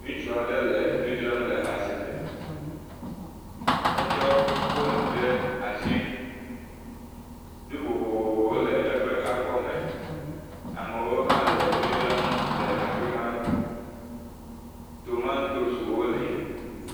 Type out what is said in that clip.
Ŋutsu aɖe le nu dzra le asime, etsɔ fone ɖe asi. Nu vovovowo le eƒe akɔme. Amewo hã le nu dzra le afima. Tomatoes wo hã le.